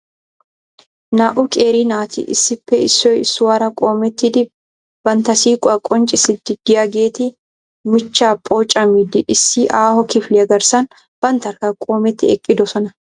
Naa"u qeeri naati issippe issoy issuwaara qoommettidi bantta siiquwaa qonccissidi de'iyaageeti miichchaa pooccamiidi issi aaho kifiliyaa garssan banttarkka qoometi eqqidoosona.